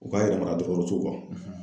U ka yɛrɛ mara dɔgɔtɔrɔso